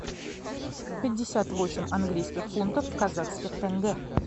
пятьдесят восемь английских фунтов в казахских тенге